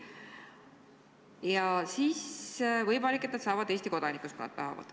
Ja siis, võimalik, et nad saavad Eesti kodanikeks, kui nad tahavad.